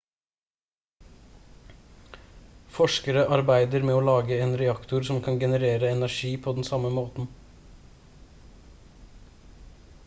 forskere arbeider med å lage en reaktor som kan generere energi på den samme måten